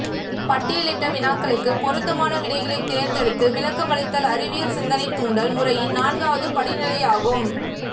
பட்டியலிட்ட வினாக்களுக்கு பொருத்தமான விடைகளை தேர்ந்தெடுத்து விளக்கமளித்தல் அறிவியல் சிந்தனைத்தூண்டல் முறையின் நான்காவது படிநிலையாகும்